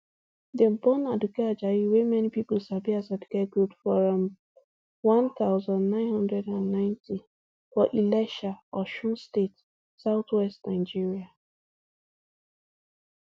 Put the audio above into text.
dem born aduke ajayi wey many pipo sabi as aduke gold for um one thousand, nine hundred and ninety for ilesha osun state southwest nigeria